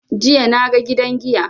Jiya na ga gidan giya.